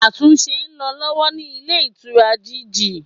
Àtúnse n lo lọ́wọ́ ní Ilé Ìtura GG